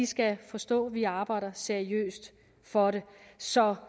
skal forstå at vi arbejder seriøst for det så